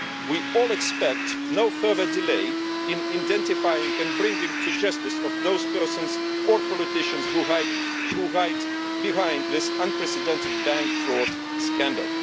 We all expect no further delay in the identification and bringing to justice of those persons or politicians who are hiding behind this unprecedented bank fraud scandal.